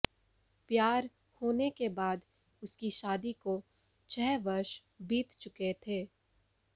प्यार होने के बाद उसकी शादी को छह वर्ष बीत चुके थे